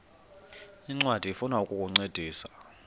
ncwadi ifuna ukukuncedisa